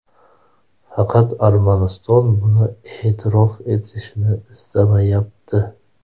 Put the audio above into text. Faqat Armaniston buni e’tirof etishni istamayapti.